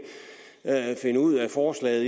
forslag jeg